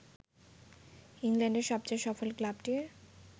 ইংল্যান্ডের সবচেয়ে সফল ক্লাবটির